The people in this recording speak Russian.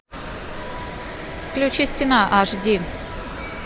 включи стена аш ди